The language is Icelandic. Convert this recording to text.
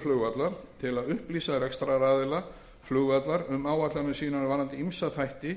til að upplýsa rekstraraðila flugvallar um áætlanir sínar varðandi ýmsa þætti